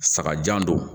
Saga jan don